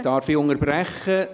Darf ich unterbrechen?